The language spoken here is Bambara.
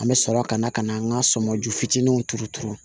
An bɛ sɔrɔ ka na ka na an ka sɔmɔju fitininw turu turu